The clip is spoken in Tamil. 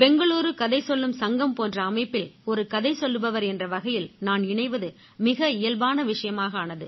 பெங்களூரு கதை சொல்லும் சங்கம் போன்ற அமைப்பில் ஒரு கதை சொல்லுபவர் என்ற வகையில் நான் இணைவது மிக இயல்பான விஷயமாக ஆனது